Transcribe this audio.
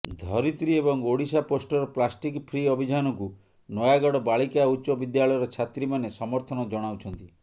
ଧରିତ୍ରୀ ଏବଂ ଓଡ଼ିଶାପୋଷ୍ଟର plastic free ଅଭିଯାନକୁ ନୟାଗଡ ବାଳିକା ଉଚ୍ଚ ବିଦ୍ୟାଳୟର ଛାତ୍ରୀମାନେ ସମର୍ଥନ ଜଣାଉଛନ୍ତି